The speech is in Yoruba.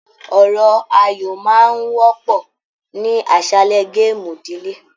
Ọ̀rọ̀ ayọ máa n wọpọ ní aṣálẹ gaamu ìdílé.